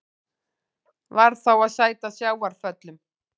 Varð þá að sæta sjávarföllum.